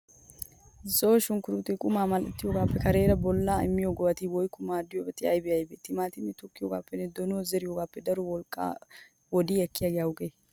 Zo'o shunkkurttee qumaa mal'ettiyogaappe kareera bollawu immiyo go'ati woykko maadoti aybee aybee? Timaatimiyaa tokkiyogaappenne donuwaa zeriyogaappe daro wolqqaanne wodiya ekkiyagee awugee?